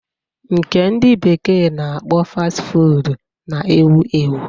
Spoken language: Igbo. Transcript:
Nke ndị bekee na-akpọ Fasti Fuud na-ewu ewu.